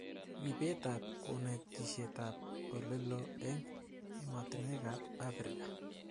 Ripetab konetishetab olelo eng ematinekab Afrika